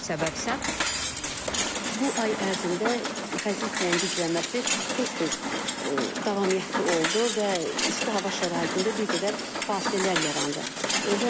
Səbəb isə bu ay ərzində xəzər küləyinin güclənməsi tez-tez davamiyyətli oldu və isti hava şəraitində bir qədər fasilələr yarandı.